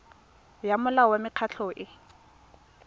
ya molao wa mekgatlho e